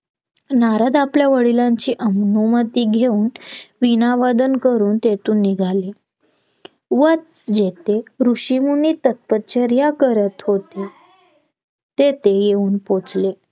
नारद आपल्या वडिलांची अनुमती घेऊन वीणा वादन करून तेथून निघाले व जेथे ऋषीमुनी तपश्चर्या करत होते तेथे येऊन पोहोचले